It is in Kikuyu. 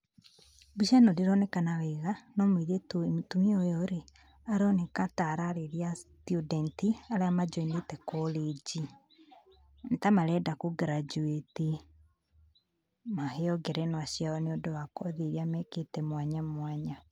Mbica ĩno ndĩronekana wega, no mũirĩtu mũtumia ũyũ rĩ, aroneka ta ararĩria student arĩa manjoinĩte college, nĩ ta marenda kũ graduate maheo ngerenwa ciao nĩ ũndũ wa kothi iria mekĩte mwanya mwanya.